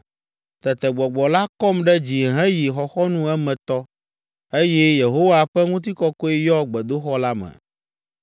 Tete Gbɔgbɔ la kɔm ɖe dzi heyi xɔxɔnu emetɔ, eye Yehowa ƒe ŋutikɔkɔe yɔ gbedoxɔ la me.